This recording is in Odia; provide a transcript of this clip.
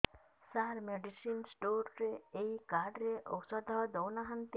ସାର ମେଡିସିନ ସ୍ଟୋର ରେ ଏଇ କାର୍ଡ ରେ ଔଷଧ ଦଉନାହାନ୍ତି